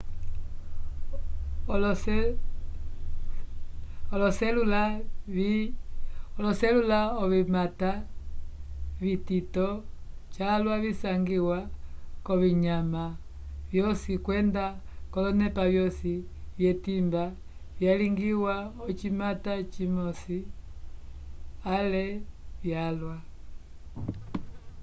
oloselula ovimata vitito calwa visangiwa k'ovinyama vyosi kwenda olonepa vyosi vyetimba vyalingiwa l'ocimata cimosi ale vyalwa